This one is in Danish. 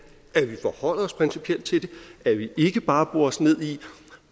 at vi forholder os principielt til det at vi ikke bare borer os ned i